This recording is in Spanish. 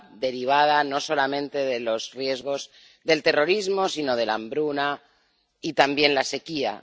derivada no solamente de los riesgos del terrorismo, sino de la hambruna y también la sequía.